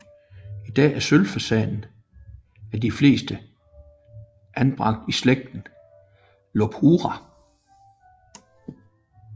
I dag er sølvfasanen af de fleste anbragt i slægten Lophura